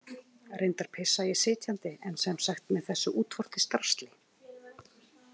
Reyndar pissa ég sitjandi en sem sagt með þessu útvortis drasli.